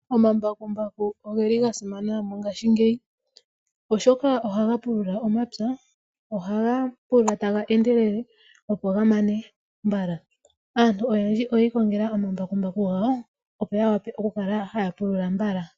Oma mbakumbaku ogeli ga simana mongashingeyi oshoka ohaga pulula omapya ,ohaga pulula taga endelele opo ga mane mbala aantu oyendji oyi ikongela oma mbakumbaku gawo opo ya wape oku kala haa pulula mbala.